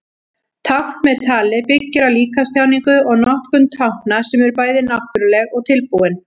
Tákn með tali byggir á líkamstjáningu og notkun tákna sem eru bæði náttúruleg og tilbúin.